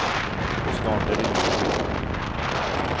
Och snart är det jul igen.